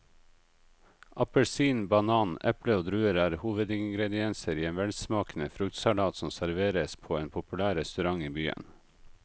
Appelsin, banan, eple og druer er hovedingredienser i en velsmakende fruktsalat som serveres på en populær restaurant i byen.